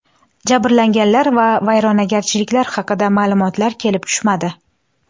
Jabrlanganlar va vayronagarchiliklar haqida ma’lumotlar kelib tushmadi.